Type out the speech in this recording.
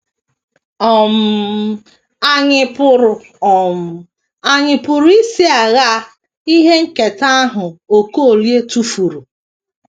um Ànyị pụrụ um Ànyị pụrụ isi aṅaa ihe nketa ahụ Okolie tụfuru?